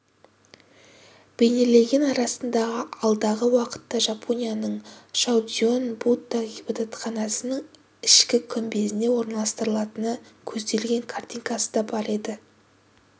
бейнеленген арасында алдағы уақытта жапонияның шоудзюин будда ғибадатханасының ішкі күмбезіне орналастырылатыны көзделген картинасы да бар